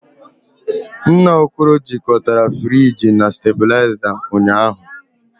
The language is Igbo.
Nna Okoro jikọtara friji na stabilizer ụnyahụ